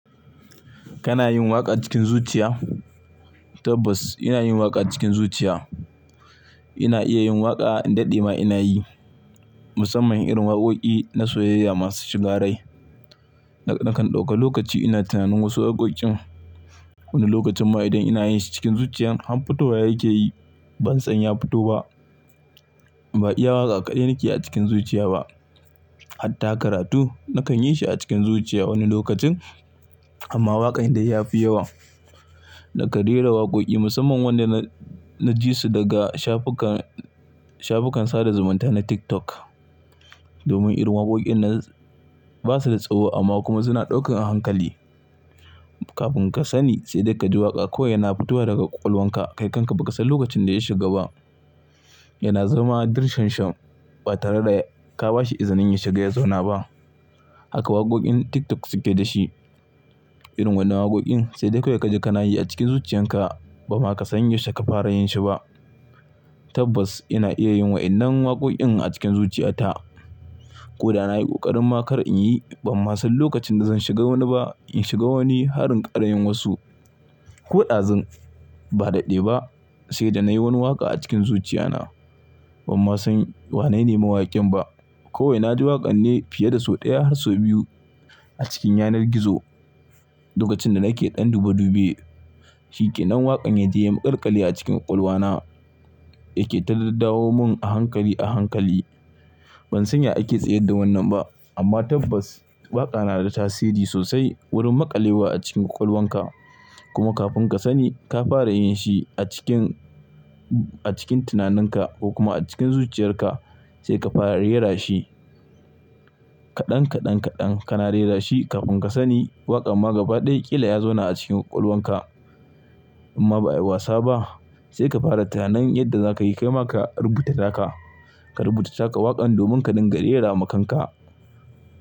Kana yin waƙa cikin zuciya? Tabbas ina yin waƙa cikin zuciya. Ina iya yin waƙa, in daɗe ma ina yi. Musamman irin waƙoƙi na soyayya masu shigarai. Nakan ɗauka lokaci ina tunanin wasu waƙoƙin. Wani lokacin ma idan ina yin su cikin zuciyan, har fitowa yake yi ban san ya fito ba. Ba iya waƙa kaɗai nake a cikin zuciya ba. Hatta karatu nakan yi shi a cikin zuciya wani lokacin. Amma waƙan dai ya fi yawa. Da kan rera waƙoƙi musamman wanda na, na ji su daga shafukan, shafukan sada zumunta na TikTok. Domin irin waƙoƙin nan ba su da tsawo amma kuma suna ɗaukan a hankali. Kafin ka sani sai dai ka ji waƙa kawai yana fitowa daga ƙwaƙwalwanka. Kai kanka ba ka san lokacin da ya shiga ba. Yana zama a dirshan shan ba tare da ka ba shi izini ya shiga ya zauna ba. Haka waƙoƙin TikTok suke da shi. Irin wannan waƙoƙin sai dai kawai ka ji ka na yi a cikin zuciyarka ba ma ka san ya yaushe ka fara yin shi ba. Tabbas ina iya yin waɗannan waƙoƙin a cikin zuciyata. Ko da na yi ƙoƙarin ma kar in yi, ban ma san lokacin da zan shiga wani ba. In shiga wani har in ƙara yin wasu. Ko ɗazun ba daɗe ba sai da na yi wani waƙa a cikin zuciyana. Ban ma san wa na nema waƙin ba. Kowai na ji waƙan ne fiye da sau ɗaya har sau biyu a cikin yanar gizo. Lokacin da nake ɗan dube dube. Shi kenan lan waƙan ya je ya makalƙali a cikin ƙwaƙwalwana yake ta daddawa mun a hankali a hankali. Ban san ya ake tsayar da wannan ba. Amma tabbas waƙa na da tasiri sosai wurin maƙalewa a cikin ƙwaƙwalwanka. Kuma kafin ka sani ka fara yin shi a cikin, a cikin tunaninka ko kuma a cikin zuciyarka sai ka fara rera shi. Kaɗan kaɗan kaɗan kana rera shi kafin ka sani waƙan ma gaba ɗaya ƙila ya zauna a cikin ƙwaƙwalwanka. Imma ba'a yi wasa ba. Sai ka fara tunanin yadda za ka yi kai maka rubuta taka. Ka rubuta taka waƙan domin ka dinga rera ma kanka.